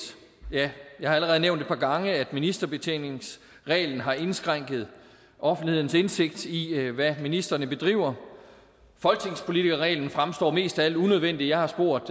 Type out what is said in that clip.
ja jeg har allerede nævnt et par gange at ministerbetjeningsreglen har indskrænket offentlighedens indsigt i hvad ministrene bedriver folketingspolitikerreglen fremstår mest af alt unødvendig jeg har spurgt